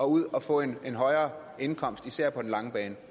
ud og få en højere indkomst især på den lange bane